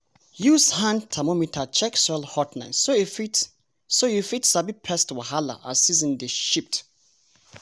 use hand thermometer check soil hotness so you fit so you fit sabi pest wahala as season dey shift.